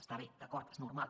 està bé d’acord és normal